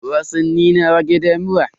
Wasanni na rage damuwa.